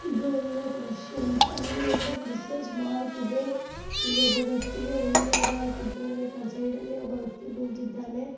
ಇದು ಒಂದು ಕ್ರಿಶ್ಚಿಯನ್ಸ್ ಅಲ್ಲಿ ಒಂದು ಕ್ರಿಶ್ಚಿಯನ್ಮಾರ್ಕ್ ಇದೆ ಇಲ್ಲಿ ಒಬ್ಬ ವ್ಯಕ್ತಿಗೆ ಹೂವಿನ ಆರ ಆಕಿದ್ದಾರೆ ಈ ಕಡೆ ಸೈಡ್ ಅಲ್ಲಿ ಒಬ್ಬ ವ್ಯಕ್ತಿ--